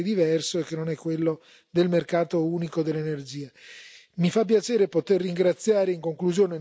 Quindi la discussione si sposta su un tema che è completamente diverso e che non è quello del mercato unico dell'energia.